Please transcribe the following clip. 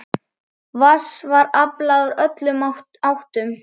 Vatns var aflað úr öllum áttum.